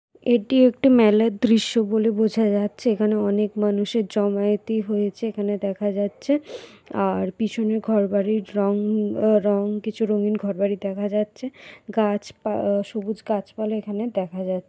একটি মেলার দৃশ্য বলে বোঝা যাচ্ছে এখানে অনেক মানুষের জমায়েতই হয়েছে এখানে দেখা যাচ্ছে। আর পিছনে ঘরবাড়ি রং রং কিছু রঙিন ঘর বাড়ি দেখা যাচ্ছে। গাছ পা সবুজ গাছপালা এখানে দেখা যা --